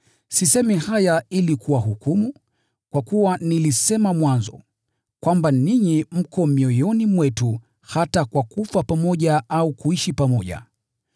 Sisemi haya ili kuwahukumu, kwa kuwa nilisema mwanzo, kwamba ninyi mko mioyoni mwetu hata kwa kufa pamoja au kuishi pamoja.